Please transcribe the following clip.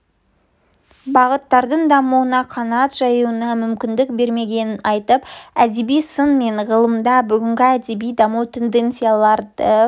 бағыттардың дамуына қанат жаюына мүмкіндік бермегенін айтып әдеби сын мен ғылымда бүгінгі әдеби даму тенденцияларды